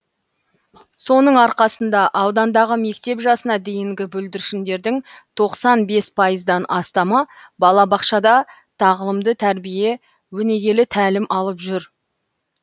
соның арқасында аудандағы мектеп жасына дейінгі бүлдіршіндердің тоқсан бес пайыздан астамы балабақшада тағылымды тәрбие өнегелі тәлім алып жүр